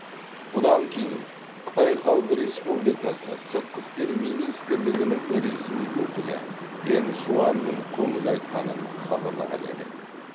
бұдан кейін қытай халық республикасы сыртқы істер министрлігінің ресми өкілі гэн шуанның көңіл айтқанын хабарлаған едік